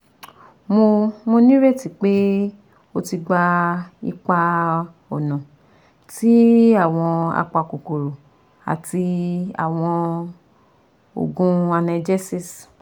Mo Mo nireti pe o ti gba ipa-ọna ti awọn apakokoro ati awọn oogun analgesics